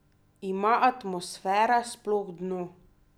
Ima atmosfera sploh dno?